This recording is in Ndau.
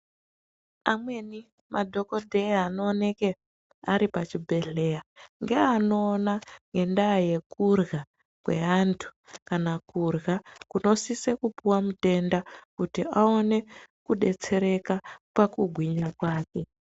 Amweni madhokodheya anooneka aripachibhedhlera ngeanoona ngenda yekurya kweantu kana kurya kunosisa kupuwa mutenda kuti aone kudetsereka pakugwinya kwake.